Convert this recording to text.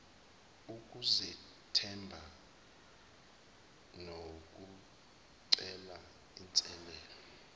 ukuzethemba nokucela inselele